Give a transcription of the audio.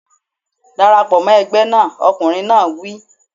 Dara pọ̀ mọ́ ẹgbẹ́ náà! Ọkùnrin náà wí.